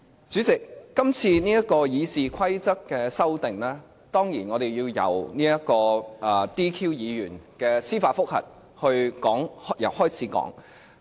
主席，今次《議事規則》的修訂，當然，我們要由 "DQ" 議員的司法覆核說起。